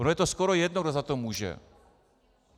Ono je to skoro jedno, kdo za to může.